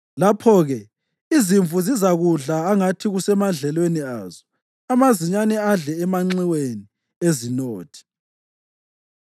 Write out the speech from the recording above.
Lapho-ke izimvu zizakudla angathi kusemadlelweni azo, amazinyane adle emanxiweni ezinothi.